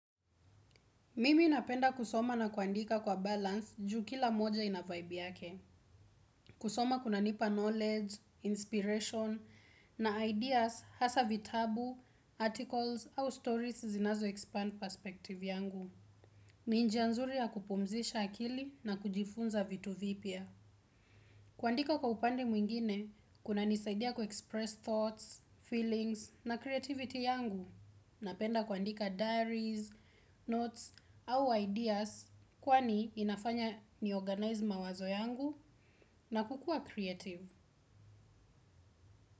Mimi napenda kusoma na kuandika kwa balance juu kila moja ina vibe yake. Kusoma kunanipa knowledge, inspiration, na ideas hasa vitabu, articles au stories zinazoexpand perspective yangu. Ni njia nzuri ya kupumzisha akili na kujifunza vitu vipya. Kuandika kwa upande mwingine, kunanisaidia kuexpress thoughts, feelings, na creativity yangu. Napenda kuandika diaries, notes au ideas kwani inafanya ni organize mawazo yangu na kukua creative.